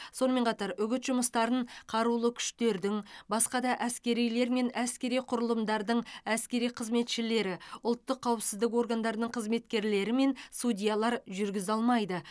сонымен қатар үгіт жұмыстарын қарулы күштердің басқа да әскерилер мен әскери құрылымдардың әскери қызметшілері ұлттық қауіпсіздік органдарының қызметкерлері мен судьялар жүргізе алмайды